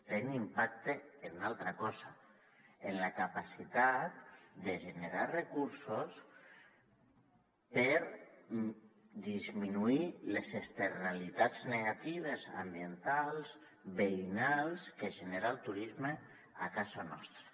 tenen impacte en una altra cosa en la capacitat de generar recursos per disminuir les externalitats negatives ambientals veïnals que genera el turisme a casa nostra